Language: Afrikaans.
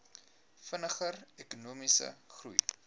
vinniger ekonomiese groei